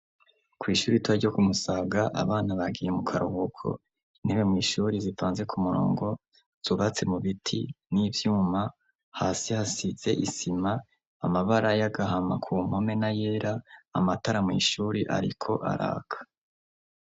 Kw'ishuri ritoya ryo ku musaga abana bagiye mu karuhuko intebe mu ishuri zipanze ku murongo zubatse mu biti n'ibyuma hasi hasitze isima amabara y'agahama kumpomena yera amatara mu ishuri ariko araka.